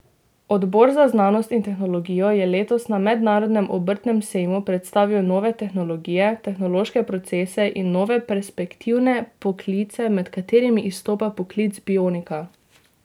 Odbor za znanost in tehnologijo je letos na Mednarodnem obrtnem sejmu predstavil nove tehnologije, tehnološke procese in nove, perspektivne poklice, med katerimi izstopa poklic bionika.